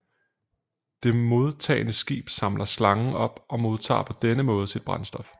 Det modtagende skib samler slangen op og modtager på denne måde sit brændstof